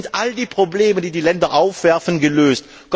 Ländern. Dort sind all die Probleme, die die Länder aufwerfen,